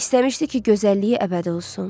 İstəmişdi ki, gözəlliyi əbədi olsun.